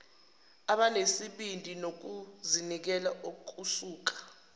abanesibindi nokuzinikela okusuka